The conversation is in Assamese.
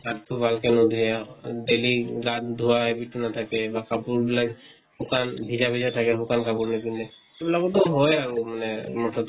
হাত টো ভালকে ন্ধুয়ে, daily গা ধোৱা habit নাথাকে, কাপোৰ বিলাক শুকান ভিজা ভিজা থাকে শুকান কাপোৰ নিপিন্ধে। সেইবিলাকতো হয় আৰু মানে মুঠ্তে